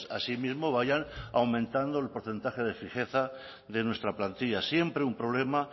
asimismo vayan aumentando el porcentaje de fijeza de nuestra plantilla siempre un problema